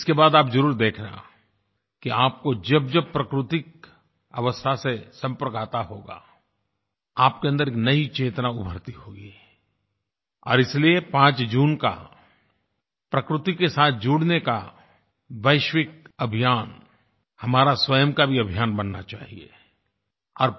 इसके बाद आप ज़रूर देखना कि आपको जबजब प्राकृतिक अवस्था से संपर्क आता होगा आपके अन्दर एक नयी चेतना उभरती होगी और इसलिए 5 जून का प्रकृति के साथ जुड़ने का वैश्विक अभियान हमारा स्वयं का भी अभियान बनना चाहिये